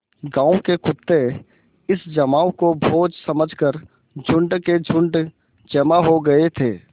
गाँव के कुत्ते इस जमाव को भोज समझ कर झुंड के झुंड जमा हो गये थे